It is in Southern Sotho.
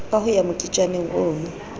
ka ho ya moketjaneng ono